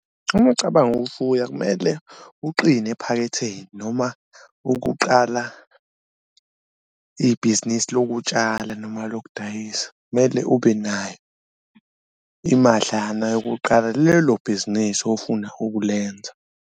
Uma ucabanga ukufuya kumele uqine ephaketheni noma ukuqala ibhizinisi lokutshala noma lokudayisa, mele ube nayo imadlana yokuqala lelo bhizinisi ofuna ukulenza.